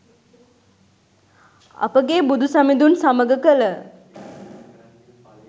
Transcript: අපගේ බුදු සමිඳුන් සමඟ කළ